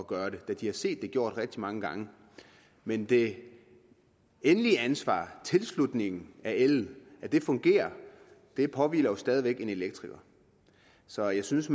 gøre det da de har set det gjort rigtig mange gange men det endelige ansvar for tilslutningen af el fungerer påhviler jo stadig væk en elektriker så jeg synes